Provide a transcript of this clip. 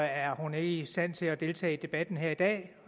er hun ikke i stand til at deltage i debatten her i dag